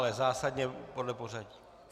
Ale zásadně podle pořadí.